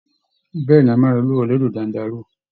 Bẹ́ẹ̀ ni, a máa lọ lúwẹ̀ẹ́ lódò Dándaruu